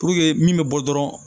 Puruke min bɛ bɔ dɔrɔn